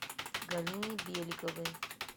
галине беликовой